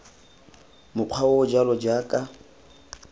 mokgwa o o jalo jaaka